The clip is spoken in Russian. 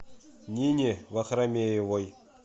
нине вахрамеевой